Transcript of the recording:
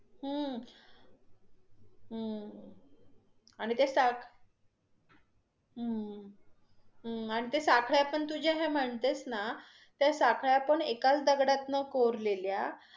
हम्म हम्म आणि ते साख हम्म हम्म आणि ते साखळ्या तू जे म्हणतेस ना, त्या साखळ्या पण एकाच दगडातन कोरलेल्या.